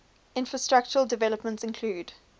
infrastructural developments include